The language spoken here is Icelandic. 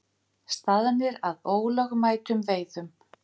Staðnir að ólögmætum veiðum